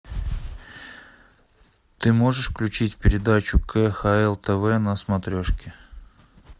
ты можешь включить передачу кхл тв на смотрешке